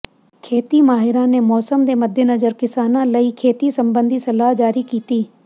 ਖੇਤੀ ਮਾਹਿਰਾਂ ਨੇ ਮੌਸਮ ਦੇ ਮੱਦੇਨਜ਼ਰ ਕਿਸਾਨਾਂ ਲਈ ਖੇਤੀ ਸਬੰਧੀ ਸਲਾਹ ਜਾਰੀ ਕੀਤੀ